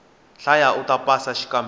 hlaya uta pasa xikambelo